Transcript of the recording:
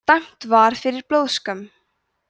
dæmt var fyrir blóðskömm